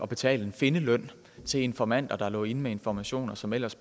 betale en findeløn til informanter der lå inde med informationer som ellers